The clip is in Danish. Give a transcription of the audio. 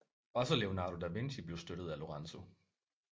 Også Leonardo da Vinci blev støttet af Lorenzo